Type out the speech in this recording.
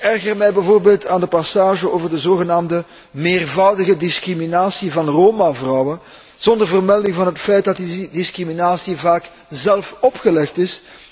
Ik erger mij bijvoorbeeld aan de passage over de zogenaamde meervoudige discriminatie van Roma vrouwen zonder vermelding van het feit dat die discriminatie vaak zelf opgelegd is.